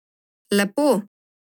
Lepo.